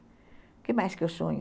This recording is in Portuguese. O que mais que eu sonho